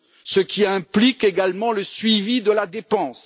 ce qui implique également le suivi de la dépense.